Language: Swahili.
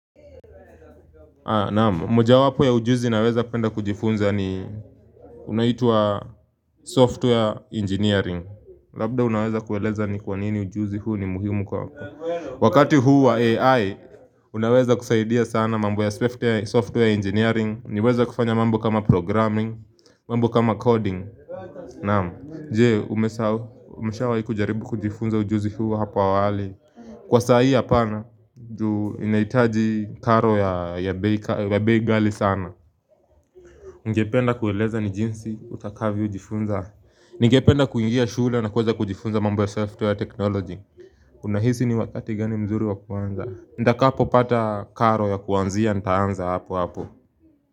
Naam, moja wapo ya ujuzi naweza penda kujifunza ni unaitwa software engineering labda unaweza kueleza ni kwanini ujuzi huu ni muhimu kwa wako wakati huu wa AI, unaweza kusaidia sana mambo ya software engineering niweza kufanya mambo kama programming, mambo kama coding Naam, je, umesahau umeshawai kujaribu kujifunza ujuzi huu hapo awali, kwa sai hapana, juu inaitaji karo ya bei ghali ya bei ghali sana Ningependa kueleza ni jinsi utakavyo jifunza Nigependa kuingia shule na kuweza kujifunza mambo ya software technology Unahisi ni wakati gani mzuri wakuanza, nitakapo pata karo ya kuanzia ntaanza hapo hapo.